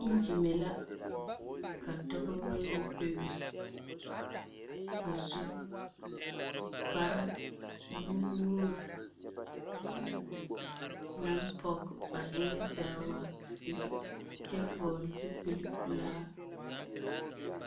Iŋgyime la. Ka dɔbɔ bayi bebe. A su kparenuwoori, naŋ pɔge ba eŋɛ zaa wa sigi kyɛ vɔgle zupilpelaa.